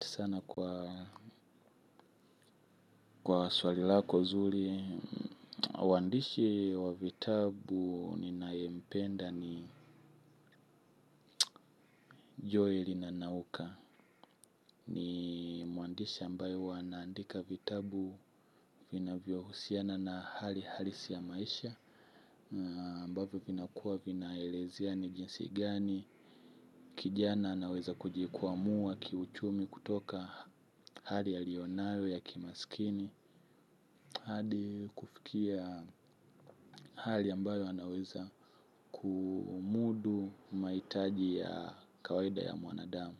Sana kwa swali lako zuri, mwandishi wa vitabu ninayempenda ni Joel nanauka ni mwandishi ambayo hwa anaandika vitabu vinavyohusiana na hali halisi ya maisha ambavyo vinakuwa vinaelezea ni jinsi gani, kijana anaweza kuji kwamua kiuchumi kutoka hali aliyo nayo ya kimasikini hadi kufikia hali ambayo anaweza kumudu mahitaji ya kawaida ya mwanadamu.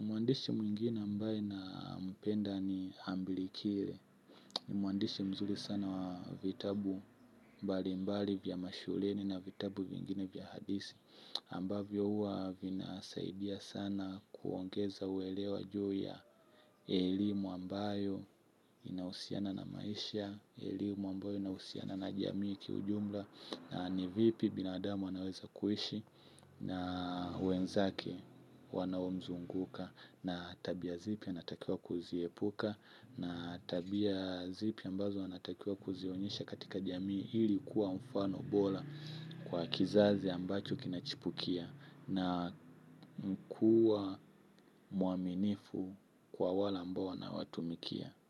Mwandishi mwingine ambaye nampenda ni hambili kile. Mwandishi mzuri sana wa vitabu mbali mbali vya mashuleni na vitabu vingine vya hadithi ambavyo huwa vinasaidia sana kuongeza uelewa juu ya elimu ambayo inahusiana na maisha, elimu ambayo inahusiana na jamii kiujumla na ni vipi binadamu anaweza kuishi na wenzake wanaomzunguka na tabia zipi anatakiwa kuziepuka na tabia zipi ambazo anatakiwa kuzionyesha katika jamii ili kuwa mfano bora kwa kizazi ambacho kinachipukia na kuwa muaminifu kwa wale ambao anawatumikia.